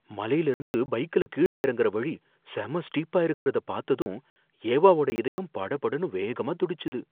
மலைலருந்து பைக்ல கீழ இறங்குற வழி செம ஸ்டீப்பா இருக்குறதை பாத்ததும் ஏவாவோட இதயம் படபடன்னு வேகமா துடிச்சுது.